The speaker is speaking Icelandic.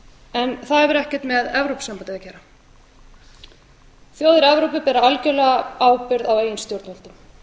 en það hefur ekkert með evrópusambandið að gera þjóðir evrópu bera algerlega ábyrgð á eigin stjórnvöldum mér